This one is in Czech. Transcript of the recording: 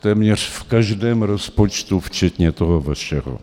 téměř v každém rozpočtu, včetně toho vašeho.